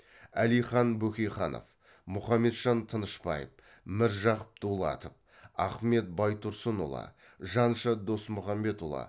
әлихан бөкейханов мұхамеджан тынышбаев міржақып дулатов ахмет байтұрсынұлы жанша досмұхамедұлы